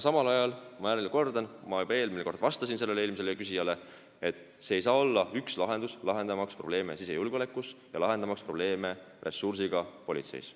Samal ajal – ma jällegi kordan, ma juba ütlesin seda eelmisele küsijale vastates –, see ei saa olla lahendus lahendamaks probleeme sisejulgeolekus ja politsei ressursside probleeme.